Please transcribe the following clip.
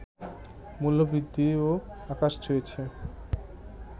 মূল্যবৃদ্ধিও আকাশ ছুঁয়েছে